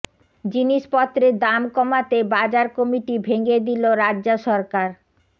জিনিসপত্রের দাম কমাতে বাজার কমিটি ভেঙে দিল রাজ্য সরকার